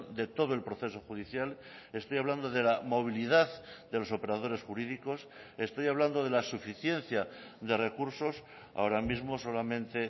de todo el proceso judicial estoy hablando de la movilidad de los operadores jurídicos estoy hablando de la suficiencia de recursos ahora mismo solamente